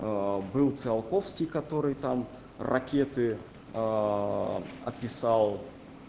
был циолковский который там ракеты описал